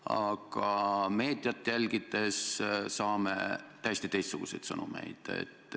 Aga meediat jälgides saame täiesti teistsuguseid sõnumeid.